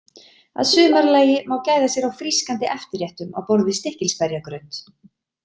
Að sumarlagi má gæða sér á frískandi eftirréttum á borð við stikkilsberjagraut.